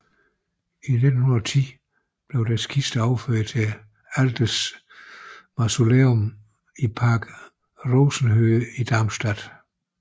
I 1910 blev deres kister overført til Altes Mausoleum i Park Rosenhöhe i Darmstadt